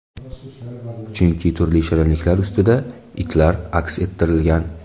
Chunki turli shirinliklar ustida itlar aks ettirilgan.